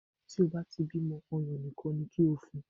Tí o bá ti bí ọmọ, ọyàn nìkan ni kó o fun.